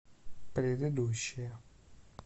предыдущая